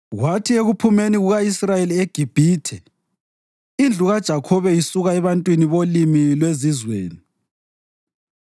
Kwathi ekuphumeni kuka-Israyeli eGibhithe, indlu kaJakhobe isuka ebantwini bolimi lwezizweni,